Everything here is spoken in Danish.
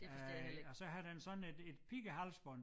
Øh og så har den sådan et et pighalsbånd